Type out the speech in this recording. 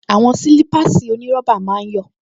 Àwọn sílípáàsì onírọ́bà máa ń yọ̀